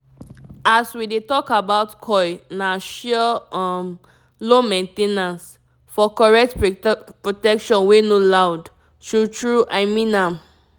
as we dey talk about coil na sure um low main ten ance --for correct protection wey no loud. true true i mean am